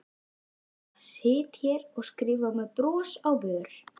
Ég bara sit hér og skrifa með bros á vör.